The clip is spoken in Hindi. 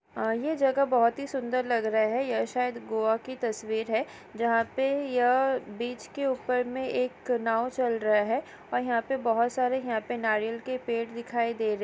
यह जगह बहुत ही सुंदर लग रहे है यह शायद गोवा की तस्वीर है जहां पर यह है बीच के ऊपर में एक नाव चल रहा है और यहां पर बहुत सारे यहां पर नारियल के पेड़ दिखाई दे रहे --